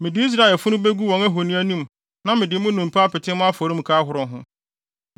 Mede Israelfo afunu begu wɔn ahoni anim na mede mo nnompe apete mo afɔremuka ahorow ho.